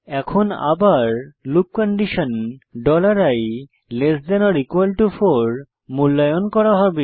এখন আবার loop condition i4 মূল্যায়ন করা হবে